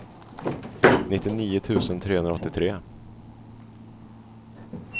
nittionio tusen trehundraåttiotre